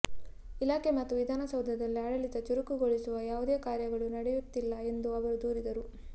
ಇಲಾಖೆ ಮತ್ತು ವಿಧಾನಸೌಧದಲ್ಲಿ ಆಡಳಿತ ಚುರುಕುಗೊಳಿಸುವ ಯಾವುದೇ ಕಾರ್ಯಗಳು ನಡೆಯುತ್ತಿಲ್ಲ ಎಂದು ಅವರು ದೂರಿದರು